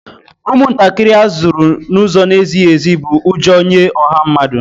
Ụmụntakịrị a zụrụ n'ụzọ na-ezighi ezi bụ ụjọ nye ọha mmadụ